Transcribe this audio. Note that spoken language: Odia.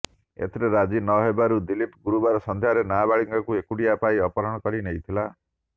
ଏଥିରେ ରାଜି ନହେବାରୁ ଦିଲ୍ଲୀପ ଗୁରୁବାର ସନ୍ଧ୍ୟାରେ ନାବାଳିକାଙ୍କୁ ଏକୁଟିଆ ପାଇ ଅପହରଣ କରି ନେଇଥିଲା